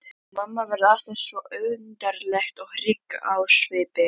Mamma varð alltaf svo undarleg og hrygg á svipinn.